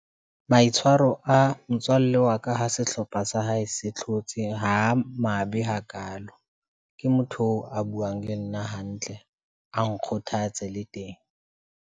Maitshwaro a motswalle wa ka, ha sehlopha sa hae se hlotse, ha a mabe hakalo, ke motho oo a buang le nna hantle, a nkgothatse, le teng.